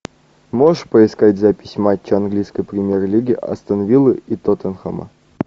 можешь поискать запись матча английской премьер лиги астон виллы и тоттенхэма